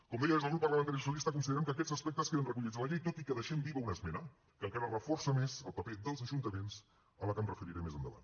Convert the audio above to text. com deia des del grup parlamentari socialista considerem que aquests aspectes queden recollits a la llei tot i que deixem viva una esmena que encara reforça més el paper dels ajuntaments a la que em referiré més endavant